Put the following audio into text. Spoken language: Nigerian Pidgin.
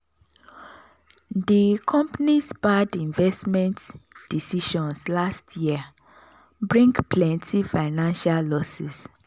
di company's bad investment decisions last year bring plenty financial losses.